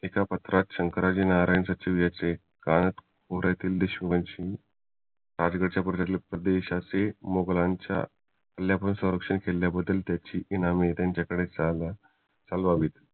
एका पत्रात शंकराजी नारायण सचिव याचे देशमुखांशी राजगडाच्या परदेश्यांचे मोघलांच्या किल्ल्यांपासून संरक्षण किल्याबद्दल त्याची नवे त्यांच्याकडे चालून आलेत